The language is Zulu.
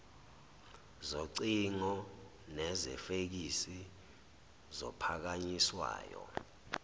zocingo nezefeksi zophakanyiswayo